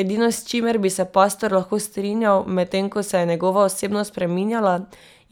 Edino, s čimer bi se pastor lahko strinjal, medtem ko se je njegova osebnost spreminjala,